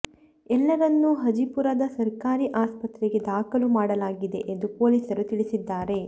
ಎಲ್ಲರನ್ನೂ ಹಜಿಪುರದ ಸರ್ಕಾರಿ ಆಸ್ಪತ್ರೆಗೆ ದಾಖಲು ಮಾಡಲಾಗಿದೆ ಎಂದು ಪೊಲೀಸರು ತಿಳಿಸಿದ್ದಾರೆ